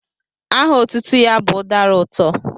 Aha otutu ya bu udara uto.